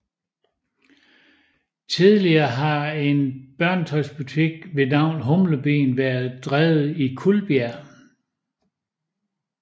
Tidligere har en børnetøjsbutik ved navn Humlebien været drevet i Kuldbjerg